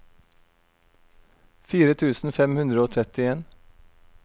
fire tusen fem hundre og trettien